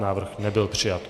Návrh nebyl přijat.